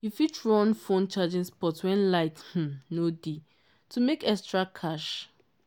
you fit run phone charging spot when light um no dey to make extra cash.